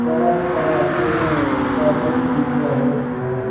तरह तरह के पर्दे दिख रहे हैं।